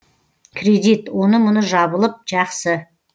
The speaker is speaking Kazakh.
кредит оны мұны жабылып жақсы